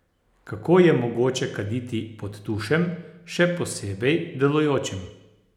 Kako je mogoče kaditi pod tušem, še posebej delujočim?